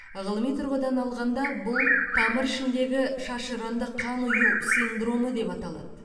ғылыми тұрғыдан алғанда бұл тамыр ішіндегі шашыранды қан ұю синдромы деп аталады